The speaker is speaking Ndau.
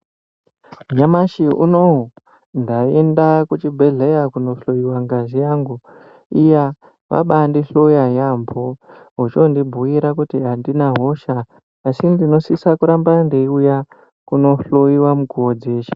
Nyamashi unouwu ndaenda kuchibhedhleya kunohloyiwa ngazi yangu. Iya, vabandihloya yaambo, vechondibhuyira kuti handina hosha, asi ndinosisa kuramba ndeiuya kunohloyiwa mukuwo dzeshe.